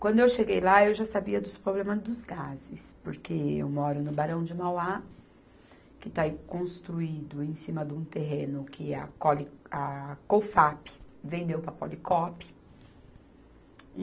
Quando eu cheguei lá, eu já sabia dos problemas dos gases, porque eu moro no Barão de Mauá, que está em, construído em cima de um terreno que a cole, a Cofap vendeu para a Policop.